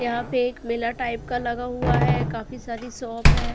यहां पे एक मेला टाइप का लगा हुआ है काफी सारी शॉप है।